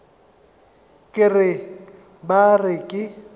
ke re ba re ke